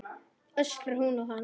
öskrar hún á hann.